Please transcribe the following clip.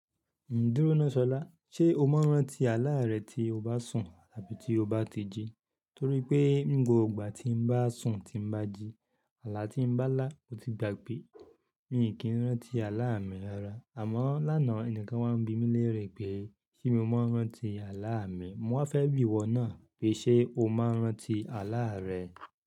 Dúró náà Sọlá, ṣe o máa ń rántí àlá rẹ tí o bá sùn àbí tí o bá ti jí? Torí pé ni gbogbo ìgbà tí n bá sùn tí n bá jí, àlá tí n bá lá mò tí gbàgbé. Mi n kí ń rántí àlá mi lára. Àmọ́ lánàá ẹnìkan wá ń bí mi léèrè pé ṣé mo máa ń rántí àlá mi. Mo wá fẹ́ bí iwọ náà pé ṣe o máa ń rántí àlá rẹ?